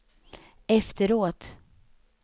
efteråt